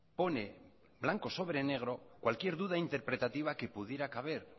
pone blanco sobre negro cualquier duda interpretativa que pudiera caber